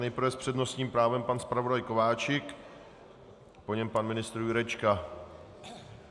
Nejprve s přednostním právem pan zpravodaj Kováčik, po něm pan ministr Jurečka.